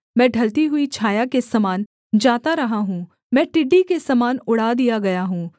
मैं ढलती हुई छाया के समान जाता रहा हूँ मैं टिड्डी के समान उड़ा दिया गया हूँ